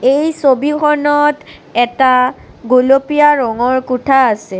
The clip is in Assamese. এই ছবিখনত এটা গুলপীয়া ৰঙৰ কোঠা আছে।